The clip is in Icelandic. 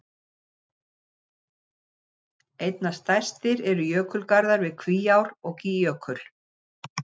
Einna stærstir eru jökulgarðar við Kvíár- og Gígjökul.